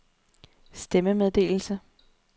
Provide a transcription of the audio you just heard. stemmemeddelelse